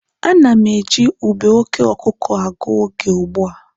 A na m eji ube oke ọkụkụ agụ oge ugbua.